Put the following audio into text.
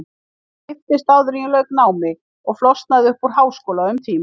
Ég giftist áður en ég lauk námi og flosnaði upp úr háskóla um tíma.